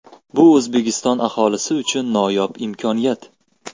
Bu O‘zbekiston aholisi uchun noyob imkoniyat!